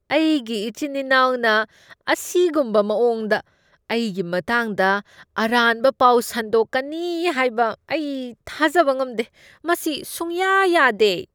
ꯑꯩꯒꯤ ꯏꯆꯤꯟ ꯏꯅꯥꯎꯅ ꯑꯁꯤꯒꯨꯝꯕ ꯃꯑꯣꯡꯗ ꯑꯩꯒꯤ ꯃꯇꯥꯡꯗ ꯑꯔꯥꯟꯕ ꯄꯥꯎ ꯁꯟꯗꯣꯛꯀꯅꯤ ꯍꯥꯏꯕ ꯑꯩ ꯊꯥꯖꯕ ꯉꯝꯗꯦ꯫ ꯃꯁꯤ ꯁꯨꯡꯌꯥ ꯌꯥꯗꯦ꯫